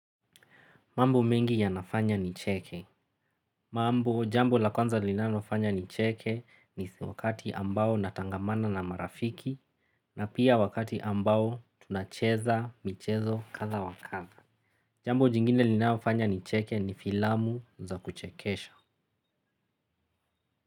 Mambo mengi yanafanya nicheke jambo lakwanza linalofanya nicheke ni wakati ambao natangamana na marafiki na pia wakati ambao tunacheza michezo katha wakatha. Jambo jingine linanofanya ni cheke ni filamu za kuchekesha.